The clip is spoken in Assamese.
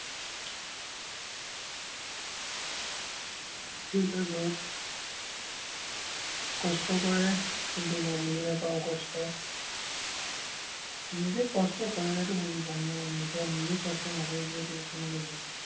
দেউতাই ঘৰত কষ্ট কৰে, কিন্তু, মই বুজি নাপাওঁ কষ্ট। নিজে কষ্ট কৰিলেটো বুজি পাম ন, এতিয়া নিজে কষ্ট নকৰোঁ যিহেতু, কেনেকে বুজিম।